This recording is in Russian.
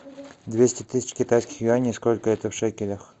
двести тысяч китайских юаней сколько это в шекелях